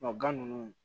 gan nunnu